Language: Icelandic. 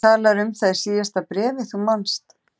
Þú talaðir um það í síðasta bréfi, þú manst.